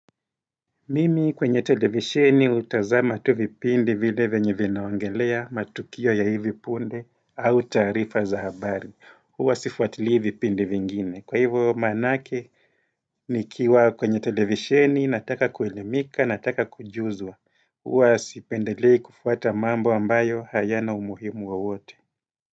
Mimi kwenye televisheni hutazama tu vipindi vile venye vinaongelea matukio ya hivi punde au taarifa za habari. Huwa sifuatilii vipindi vingine. Kwa hivyo maanake nikiwa kwenye televisheni nataka kuelimika nataka kujuzwa. Huwa sipendelei kufuata mambo ambayo hayana umuhimu wowote.